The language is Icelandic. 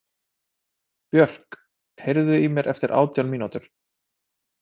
Björk, heyrðu í mér eftir átján mínútur.